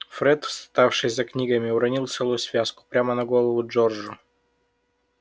фред вставший за книгами уронил целую связку прямо на голову джорджу